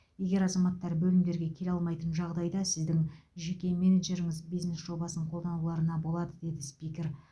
егер азаматтар бөлімдерге келе алмайтын жағдайда сіздің жеке менеджеріңіз бизнес жобасын қолдануларына болады деді спикер